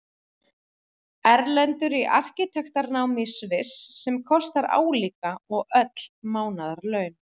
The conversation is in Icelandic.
Erlendur í arkitektanámi í Sviss, sem kostar álíka og öll mánaðarlaun